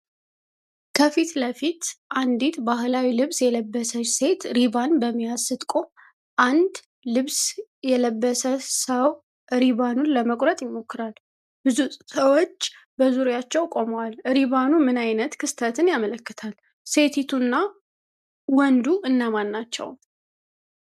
ከፊት ለፊት አንዲት ባህላዊ ልብስ የለበሰች ሴት ሪባን በመያዝ ስትቆም፣ አንድ ልብስ የለበሰ ሰው ሪባኑን ለመቁረጥ ይሞክራል። ብዙ ሰዎች በዙሪያቸው ቆመዋል። ሪባኑ ምን ዓይነት ክስተትን ያመለክታል? ሴቲቱና ወንዱ እነማን ናቸው?